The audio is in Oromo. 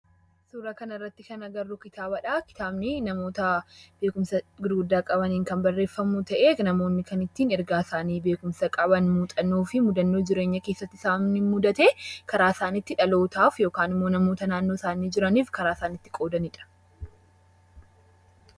Suuraa kanarratti kan arginu kitaabadha. Kitaabni namoota beekumsa gurguddaa qabaniin kan barreeffamu yoo ta'u, kan ittiin ergaa isaanii muuxannoo fi mudannoo jireenya keessatti isaan mudate karaa itti dhalootaaf yookaan namoota naannoo isaaniitti jiraniif karaa isaan ittiin qoodanidha.